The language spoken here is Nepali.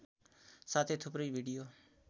साथै थुप्रै भिडियो